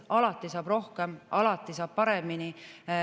Alati saab rohkem, alati saab paremini.